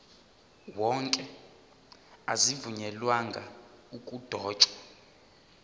wonke azivunyelwanga ukudotshwa